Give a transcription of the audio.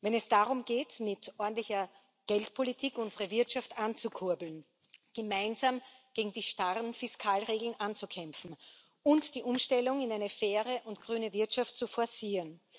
Wenn es darum geht, mit ordentlicher Geldpolitik unsere Wirtschaft anzukurbeln, gemeinsam gegen die starren Fiskalregeln anzukämpfen und die Umstellung in eine faire und grüne Wirtschaft zu forcieren.